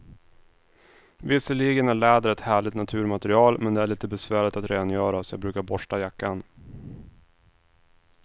Visserligen är läder ett härligt naturmaterial, men det är lite besvärligt att rengöra, så jag brukar borsta jackan.